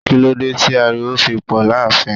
Kí ló dé tí ariwo fi pò láàfin?